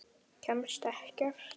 Kemst ekkert.